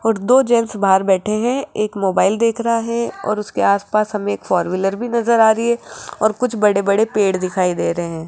और दो जेंट्स बाहर बैठे हैं एक मोबाइल देख रा है और उसके आस पास हम एक फोर व्हीलर भी नजर आ री है और कुछ बड़े बड़े पेड़ दिखाई दे रे है।